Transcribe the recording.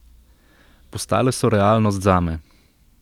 Postale so realnost zame.